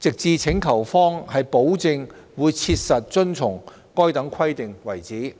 直至請求方保證會切實遵從該等規定為止。